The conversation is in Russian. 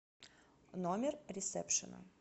номер ресепшена